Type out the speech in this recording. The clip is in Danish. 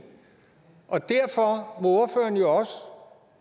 og derfor